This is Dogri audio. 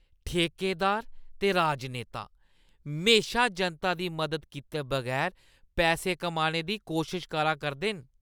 ठेकेदार ते राजनेता म्हेशा जनता दी मदद कीते बगैर पैसे कमाने दी कोशश करा करदे न ।